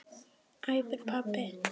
æpir pabbi.